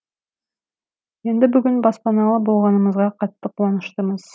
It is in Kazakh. енді бүгін баспаналы болғанымызға қатты қуаныштымыз